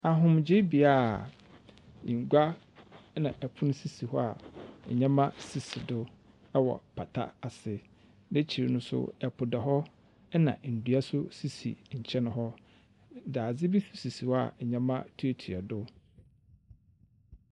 Ahomgyebea a ngua na pon sisi hɔ a ndzɛmba sisi do wɔ pata ase. N’ekyir no so, po da hɔ na ndua so sisi nkyɛn hɔ. dadze bi sisi hɔ a ndzɛmba tuatua do.